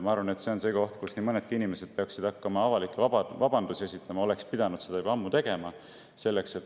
Ma arvan, et see on koht, kus nii mõnedki inimesed peaksid hakkama avalikke vabandusi esitama, oleksid pidanud seda juba ammu tegema.